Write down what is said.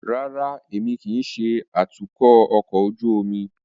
Rárá, Emi kii ṣe atukọ ọkọ ojú omi